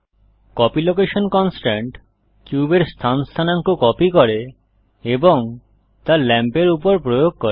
copy location constraint কিউবের স্থান স্থানাঙ্ক কপি করে এবং তা লাম্পের উপর প্রয়োগ করে